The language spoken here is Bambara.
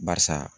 Barisa